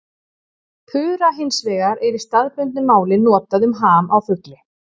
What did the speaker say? Pura hins vegar er í staðbundnu máli notað um ham á fugli.